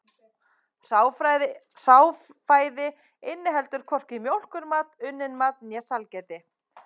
Hráfæði inniheldur hvorki mjólkurmat, unnin mat né sælgæti.